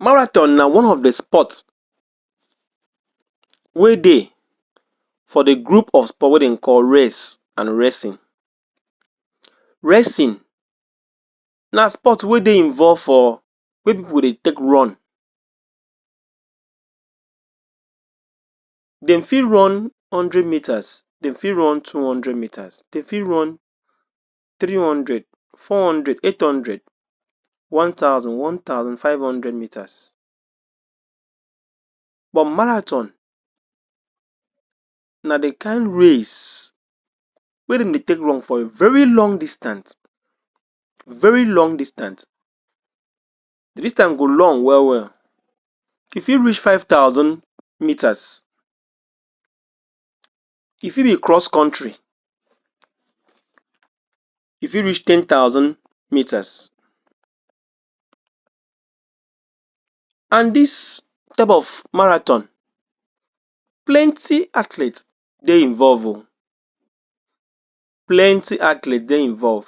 Marathon na one of de sports wey dey for de group of sport wey dem dey call race and racing. Racing na sports wey dey involve for, wey pipul dey take run. Dem fit run hundred meters, dem fit run two hundred meters, dem fit run three hundred, four hundred, eight hundred, one thousand, one thousand five hunded meters. But marathon na de kain race wey dem dey take run for a very long distant, very long distant de distant go long well well, e fit reach five thousand meters. E fi dey cross country, e fi reach ten thousand meters. And dis type of marathon, plenty athletes dey involve oo, plenty athletes dey involve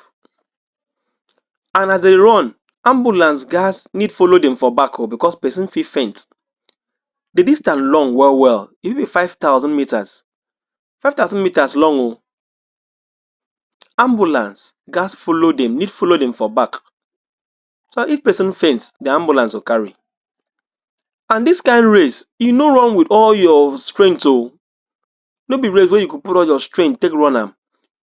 and as de run, ambulance ghats need follow dem for back oo because person fit faint, de distant long well well e fi be five thousand meters, five thousand meters long oo ambulance ghats follow dem, need follow dem for back so dat if pesin faint de ambulance go carry and dis kain race e no run with all your strength oo no be race wey you go put all your strength take run am,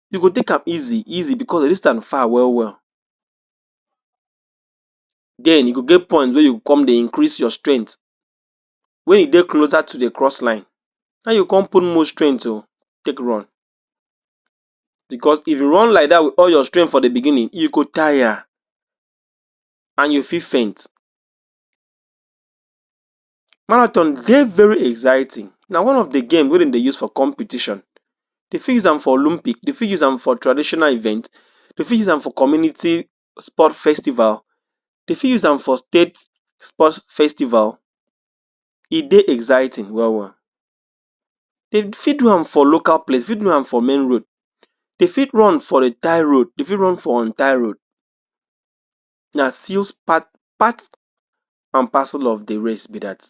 you go take am easy easy because de distant far well well. Then e go get point wey you come dey increase your strength when you dey closer to de cross-line, now you come put more strength oo take run because if you run like dat with all your strength for de beginning, you go tire and you fi faint. Marathon dey very exziting na one of de game wey dem dey use for competition, de fi use am for olympic, de fi use am for traditional event, dem fi use am for community sports festival, dem fi use am for state sports festival. de dey exziting well well, de fi do am for local place, fi do am for main road, dey fi run for tarred road dem fi do am for untarred road na still part and parcel of the race be dat.